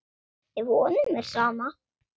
Ef honum er sama.